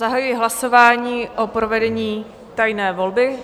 Zahajuji hlasování o provedení tajné volby.